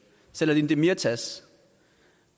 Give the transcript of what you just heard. selahattin demirtaş